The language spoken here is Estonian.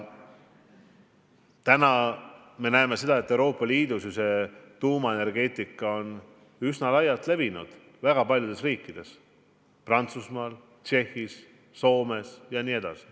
Samas me näeme, et Euroopa Liidus on ju tuumaenergeetika üsna laialt kasutusel paljudes riikides: Prantsusmaal, Tšehhis, Soomes jm.